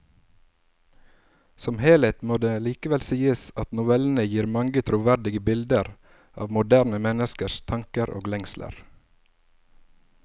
Som helhet må det likevel sies at novellene gir mange troverdige bilder av moderne menneskers tanker og lengsler.